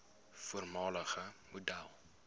voormalige model